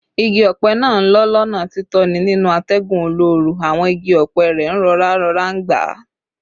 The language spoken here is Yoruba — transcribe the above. Igi ọ̀pẹ náà ń lọ́ lọ́nà títọ̀nà nínú atẹ́gùn olóoru, àwọn igi ọ̀pẹ rẹ̀ ń rọra rọra ń gbá